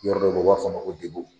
Yɔrɔ dɔw bɛ ye o b'a fɔ o ma ko debo.